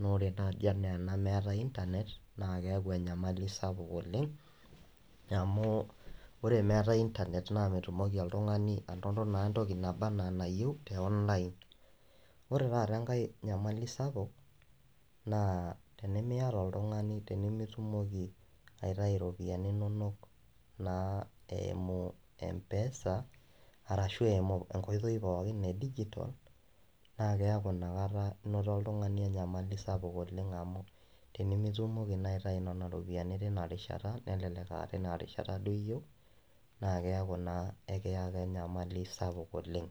naa ore naji ena meetae[cs internet naa keaku enyamali sapuk oleng amu ore meetae internet naa metumoki oltungani anoto naa entoki naba anaa enayieu teonline. Ore taata enkae nyamali sapuk ,naa tenimiata oltungani , tenimitumoki aitayu iropiyiani inonok naa eimu mpesa arashu eimu enkoitoi pookin edigital naa keaku inakata inoto oltungani enyamali sapuk oleng amu tenimitumoki naa aitayu nena ropiyiani tina rishata, nelelek aa tina rishata duo iyeiu naa keaku naa ekiyaka enyamali sapuk oleng.